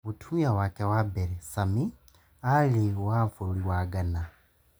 Mũtumia wake wa mbere, Sami, aarĩ wa bũrũri wa Ghana.